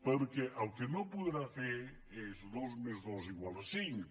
perquè el que no podrà fer és dos més dos igual a cinc